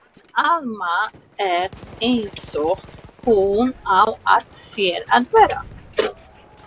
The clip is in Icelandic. En Alma er einsog hún á að sér að vera.